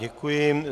Děkuji.